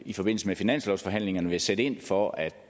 i forbindelse med finanslovsforhandlingerne vil sætte ind for at